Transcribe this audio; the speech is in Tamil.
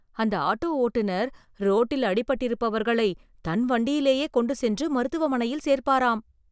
அந்த ஆட்டோ ஓட்டுனர் ரோட்டில் அடிபட்டிருப்பவர்களை தன் வண்டியிலே கொண்டு சென்று மருத்துவமனையில் சேர்ப்பாராம்